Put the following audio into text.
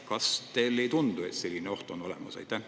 Kas teile ei tundu, et selline oht on olemas?